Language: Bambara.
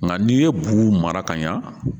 Nka n'i ye bugu mara ka ɲa